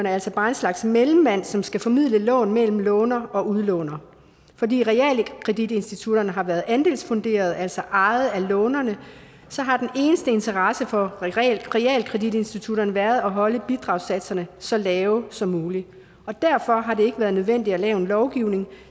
altså bare en slags mellemmand som skal formidle lån mellem låner og udlåner fordi realkreditinstitutterne har været andelsfunderet altså ejet af lånerne så har den eneste interesse for realkreditinstitutterne været at holde bidragssatserne så lave som muligt derfor har det ikke være nødvendigt at lave en lovgivning